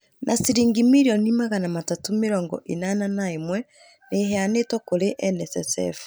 Na ciringi mirioni magana matatũ mĩrongo ĩnana na ĩmwe, nĩ iheanĩtwo kũrĩ NSSF.